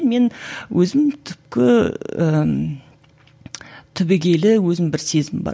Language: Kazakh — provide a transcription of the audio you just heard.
мен өзім түпкі ііі түбегейлі өзім бір сезім бар